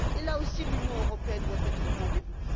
Là aussi, l'Union européenne doit être au rendez vous.